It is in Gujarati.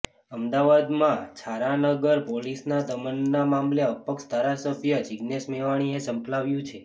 અમદાવાદમાં છારા નગરમાં પોલીસના દમનના મામલે અપક્ષ ધારાસભ્ય જીગ્નેશ મેવાણીએ ઝંપલાવ્યું છે